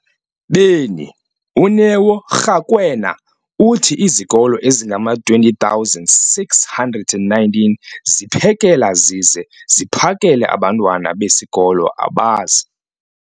beni, uNeo Rakwena, uthi izikolo ezingama-20 619 ziphekela zize ziphakele abantwana besikolo abazi-